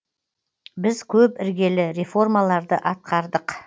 біз көп іргелі реформаларды атқардық